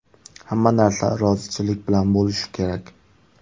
Hamma narsa rozichilik bilan bo‘lishi kerak.